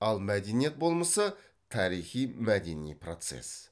ал мәдениет болмысы тарихи мәдени процесс